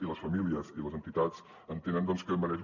i les famílies i les entitats entenen que mereix